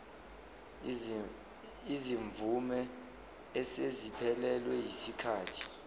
izimvume eseziphelelwe yisikhathi